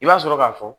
I b'a sɔrɔ k'a fɔ